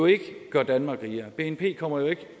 ikke gør danmark rigere bnp kommer jo ikke